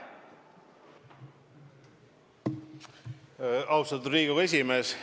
Austatud Riigikogu esimees!